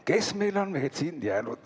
Kes meil on siin jäänud?